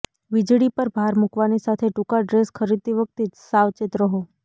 વીજળી પર ભાર મૂકવાની સાથે ટૂંકા ડ્રેસ ખરીદતી વખતે સાવચેત રહો